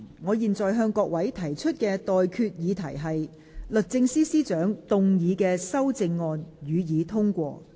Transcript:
我現在向各位提出的待決議題是：律政司司長動議的修正案，予以通過。